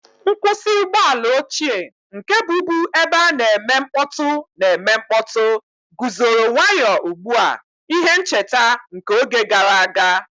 Nkwụsị ụgbọ ala ochie, nke bụbu ebe a na-eme mkpọtụ na-eme mkpọtụ, guzoro nwayọ ugbu a, ihe ncheta nke oge gara aga.